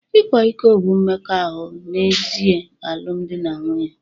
Ịkwa iko bụ mmekọahụ n'èzí alụmdi na nwunye